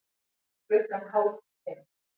Klukkan hálf fimm